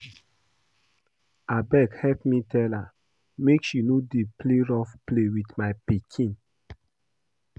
Abeg help me tell her make she no dey play rough play with my pikin